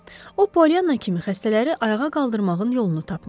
O, Polianna kimi xəstələri ayağa qaldırmağın yolunu tapmışdı.